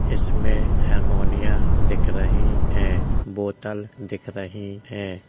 इसमें हरमोनियाँ दिख रही हैं बोतल दिख रही हैं।